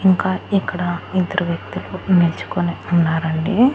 ఇంకా ఇక్కడ ఇద్దరు వ్యక్తులు నిల్చుకొని ఉన్నారండి.